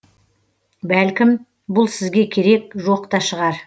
бәлкім бұл сізге керек жоқ та шығар